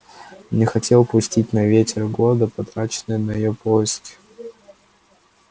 не хотел пустить на ветер годы потраченные на её поиски